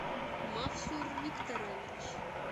мавсур викторович